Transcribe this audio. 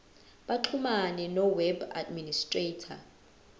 baxhumane noweb administrator